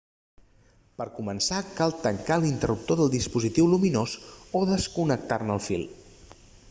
per començar cal tancar l'interruptor del dispositiu lluminós o desconnectar-ne el fil